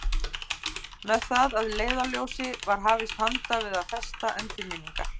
Með það að leiðarljósi var hafist handa við að festa endurminningar